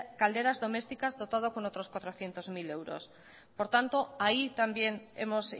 calderas domésticas dotado con otros cuatrocientos mil euros por tanto ahí también hemos